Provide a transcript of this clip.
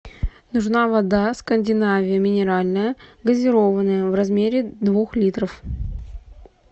нужна вода скандинавия минеральная газированная в размере двух литров